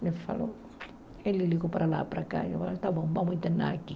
Ele falou, ele ligou para lá, para cá, ele falou, tá bom, vamos internar aqui.